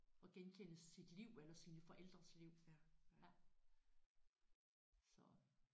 Og genkende sit liv eller sine forældres liv ja så